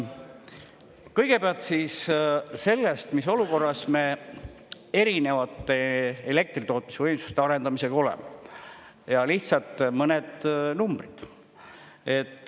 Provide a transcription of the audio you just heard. Kõigepealt siis sellest, mis olukorras me erinevate elektritootmisvõimsuste arendamisega oleme, ja lihtsalt mõned numbrid.